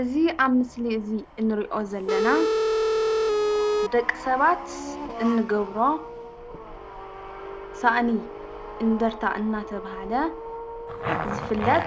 እዚ ኣብ ምስሊ እዚ እንሪኦ ዘለና ደቂ ሰባት እንገብሮ ሳእኒ እንድርታ እናተብሃለ ዝፍለጥ